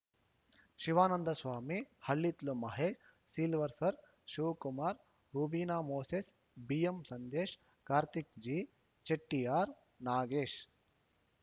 Shivananda Swamy Hallithlu Mahesh Silvester Shivakumar Rubin Moses BM Sandesh Karthik G Chettiar Nagesh